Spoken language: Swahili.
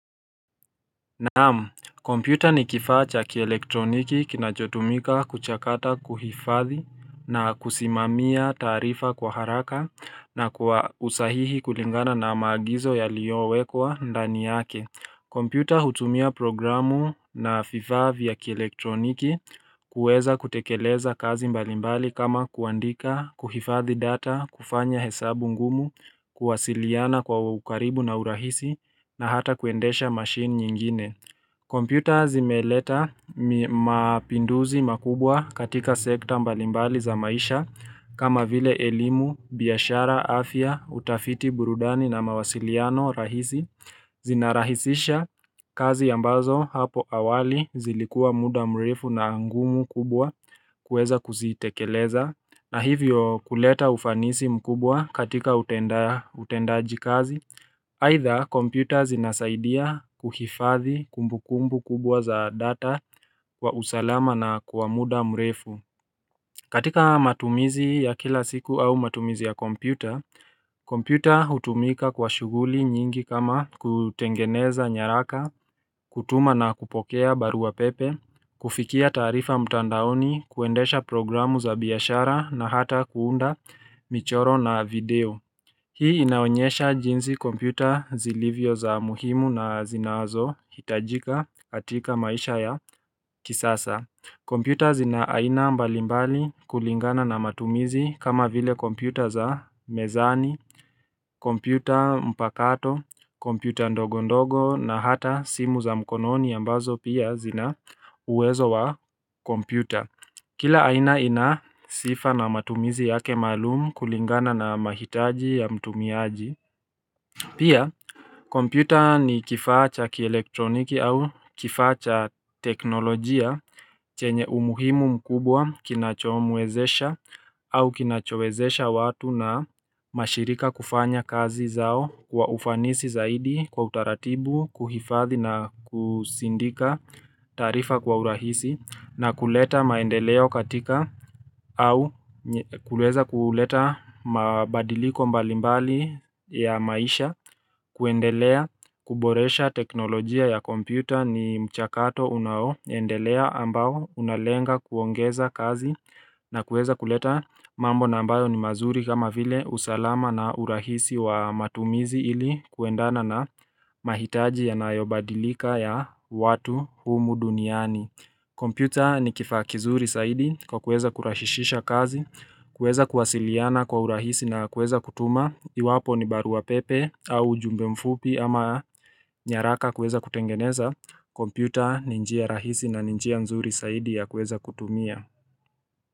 Naam, kompyuta ni kifaa cha kielektroniki kinachotumika kuchakata kuhifadhi na kusimamia taarifa kwa haraka na kwa usahihi kulingana na maagizo yaliyowekwa ndani yake. Kompyuta hutumia programu na vifaa vya kielektroniki kuweza kutekeleza kazi mbalimbali kama kuandika, kuhifadhi data, kufanya hesabu ngumu, kuwasiliana kwa ukaribu na urahisi na hata kuendesha machine nyingine. Kompyuta zimeleta mapinduzi makubwa katika sekta mbalimbali za maisha kama vile elimu, biashara, afya, utafiti, burudani na mawasiliano rahisi zinarahisisha kazi ambazo hapo awali zilikuwa muda mrefu na ngumu kubwa kuweza kuzitekeleza. Na hivyo kuleta ufanisi mkubwa katika utendaji kazi Aidha, komputa zinasaidia kuhifadhi kumbu kumbu kubwa za data wa usalama na kwa muda mrefu katika matumizi ya kila siku au matumizi ya komputa, komputa hutumika kwa shughuli nyingi kama kutengeneza nyaraka, kutuma na kupokea barua pepe kufikia taarifa mtandaoni, kuendesha programu za biashara na hata kuunda michoro na video Hii inaonyesha jinsi kompyuta zilivyo za muhimu na zinazohitajika katika maisha ya kisasa. Kompyuta zina aina mbalimbali kulingana na matumizi kama vile kompyuta za mezani, kompyuta mpakato, kompyuta ndogondogo na hata simu za mkononi ambazo pia zina uwezo wa kompyuta. Kila aina ina sifa na matumizi yake maalumu kulingana na mahitaji ya mtumiaji. Pia, kompyuta ni kifaa cha kielektroniki au kifaa cha teknolojia chenye umuhimu mkubwa kinachomwezesha au kinachowezesha watu na mashirika kufanya kazi zao wa ufanisi zaidi kwa utaratibu, kuhifadhi na kusindika taarifa kwa urahisi na kuleta maendeleo katika au kuleza kuleta mabadiliko mbalimbali ya maisha kuendelea kuboresha teknolojia ya kompyuta ni mchakato unaoendelea ambao unalenga kuongeza kazi na kuweza kuleta mambo na ambayo ni mazuri kama vile usalama na urahisi wa matumizi ili kuendana na mahitaji yanayobadilika ya watu humu duniani Computer ni kifaa kizuri zaidi kwa kuweza kurahishisha kazi kuweza kuwasiliana kwa urahisi na kuweza kutuma Iwapo ni barua pepe au jumbe mfupi ama nyaraka kuweza kutengeneza kompyuta ni njia rahisi na njia nzuri saidi ya kuweza kutumia.